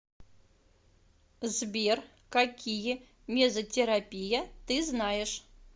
сбер какие мезотерапия ты знаешь